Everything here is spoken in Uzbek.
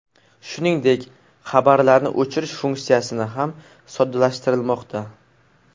Shuningdek, xabarlarni o‘chirish funksiyasini ham soddalashtirilmoqda.